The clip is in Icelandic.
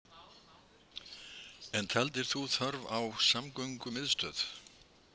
En taldir þú þörf á samgöngumiðstöð